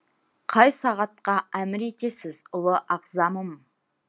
қай сағатқа әмір етесіз ұлы ағзамым